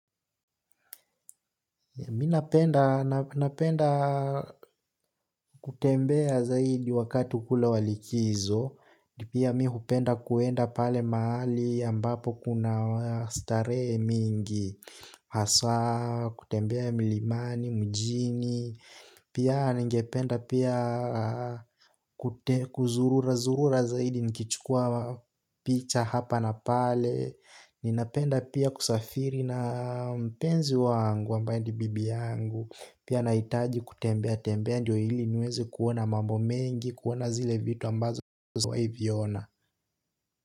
Mimi napenda, napenda kutembea zaidi wakati kule wa likizo, pia mimi hupenda kuenda pale mahali ambapo kuna starehe mingi, hasa, kutembea milimani, mjini, pia ningependa pia kuzurura, zurura zaidi nikichukua picha hapa na pale. Ninapenda pia kusafiri na mpenzi wangu ambaye ni bibi yangu. Pia nahitaji kutembea tembea ndo ili niweze kuona mambo mengi. Kuona zile vitu ambazo kwa hiviona.